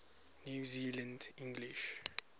new zealand english